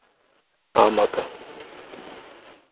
ஆமாக்கா